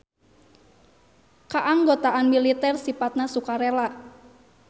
Kaanggotaan militer sipatna sukarela.